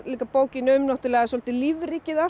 bókin um svolítið lífríkið allt